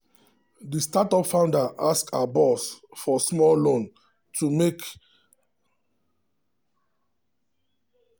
the startup founder ask her boss for small loan to take handle unexpected software development cost.